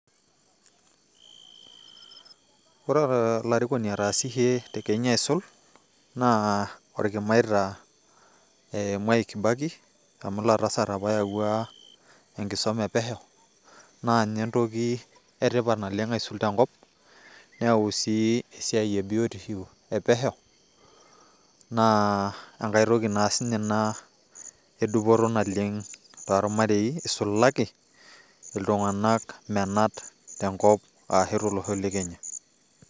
ore ilarikoni otaasishe aisul, naa orkimaita, mwai kibaki, amu ilo tasat apa oyawua, enkisuma epesho naa ninye entoki, etipat naleng aisul tenkop, neyau sii esiai ebiotisho epesho naainatoki naa enedupoto tooramarei menat ashu tolosho le kenya.